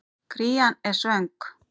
Krían er svöng.